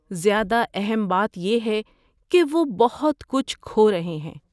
زیادہ اہم بات یہ ہے کہ وہ بہت کچھ کھو رہے ہیں۔